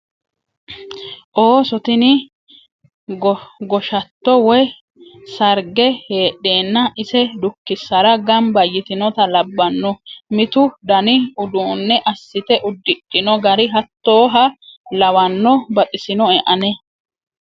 Ooso tini goshatto woyi sarge heedhenna ise dukkisara gamba yitinotta labbano mitu dani uduune assite uddidhino gari hattoha lawano baxisino ane